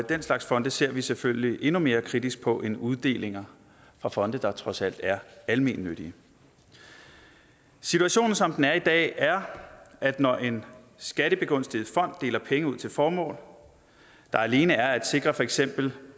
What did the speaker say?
den slags fonde ser vi selvfølgelig endnu mere kritisk på end uddelinger fra fonde der trods alt er almennyttige situationen som den er i dag er at når en skattebegunstiget fond deler penge ud til formål der alene er at sikre for eksempel